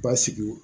Basigiw